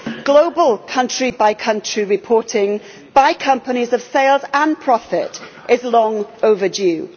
Global country by country reporting by companies of their sales and profit is long overdue.